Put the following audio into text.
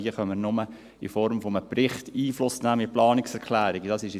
Hier können wir nur in Form eines Berichts mit Planungserklärungen Einfluss nehmen.